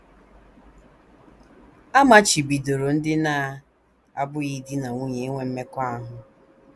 A machibidoro ndị na - abụghị di na nwunye inwe mmekọahụ.